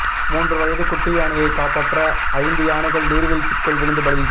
மூன்று வயது குட்டி யானையைக் காப்பாற்ற ஐந்து யானைகள் நீர்வீழ்ச்சிக்குள் விழுந்து பலி